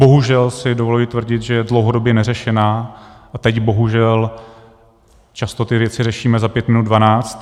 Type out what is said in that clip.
Bohužel si dovoluji tvrdit, že je dlouhodobě neřešená, a teď bohužel často ty věci řešíme za pět minut dvanáct.